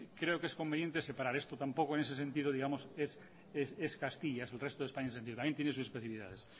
creo que es conveniente separar esto tampoco en ese sentido digamos es castilla el resto de españa en ese sentido también tiene sus especificidades